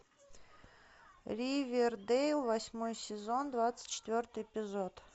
ривердэйл восьмой сезон двадцать четвертый эпизод